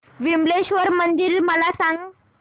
विमलेश्वर मंदिर मला सांग